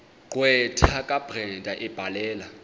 gqwetha kabrenda ebhalela